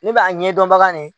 Ne b'a ɲɛdɔnbaga ye